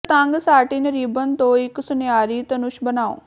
ਇੱਕ ਤੰਗ satin ribbon ਤੋਂ ਇੱਕ ਸੁਨਹਿਰੀ ਧਨੁਸ਼ ਬਣਾਉ